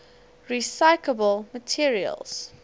recyclable materials